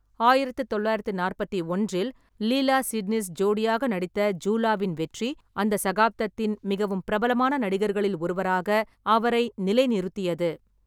ஆயிரத்து தொள்ளாயிரத்தி நாற்பத்தி ஒன்றில் லீலா சிட்னிஸ் ஜோடியாக நடித்த ஜூலாவின் வெற்றி, அந்த சகாப்தத்தின் மிகவும் பிரபலமான நடிகர்களில் ஒருவராக அவரை நிலைநிறுத்தியது.